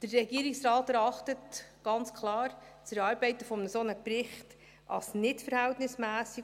Der Regierungsrat erachtet das Erarbeiten eines solchen Berichts ganz klar als nicht verhältnismässig.